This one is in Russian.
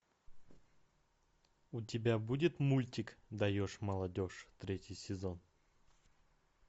у тебя будет мультик даешь молодежь третий сезон